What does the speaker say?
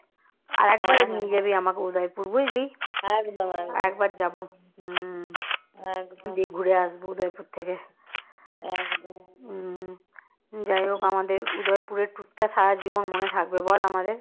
যাইহোক আমাদের উদয়পুরের tour সারা জীবন মনে থাকবে বল আমাদের